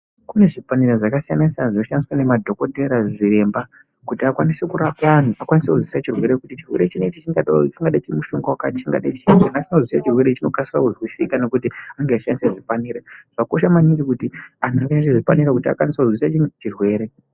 Kunezvipanera zvakawanda zvakasiyana siyana zvinoshandiswa nemadhokotera, zviremba kuti akwanise kurape vanhu akwanise kuzwisisa chirwere kuti chirwere chinechi chingade mushonga wakadini wanyaita chirwere ichi chinokasira kuzwisisika nekuti anenge eishandise hupanera, zvakakosha maningi anhu ashandisa zvipanera kuti azwisise chimwe chirwere.